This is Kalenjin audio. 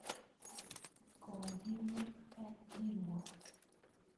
Kokimut kapkiruok.